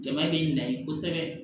Jama bɛ na ye kosɛbɛ